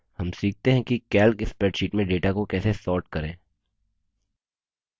हम सीखते हैं कि calc spreadsheet में data को कैसे sort करें